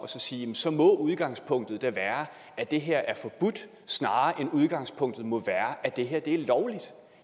og sige at så må udgangspunktet da være at det her er forbudt snarere end at udgangspunktet må være at det er lovligt